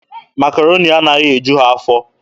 Makaroni anaghị eju ha afọ.